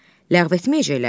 Ləğv etməyəcəklər ki.